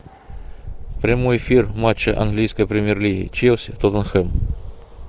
прямой эфир матча английской премьер лиги челси тоттенхэм